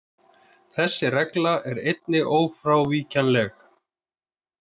Þessi regla er einnig ófrávíkjanleg.